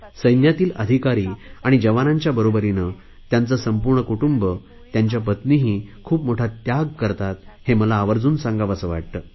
सैन्यातील अधिकारी आणि जवानांच्या बरोबरीने त्यांचे संपूर्ण कुटुंब त्यांच्या पत्नीही खूप मोठा त्याग करतात हे मला आवर्जुन सांगावेसे वाटते